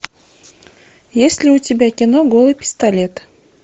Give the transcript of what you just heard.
есть ли у тебя кино голый пистолет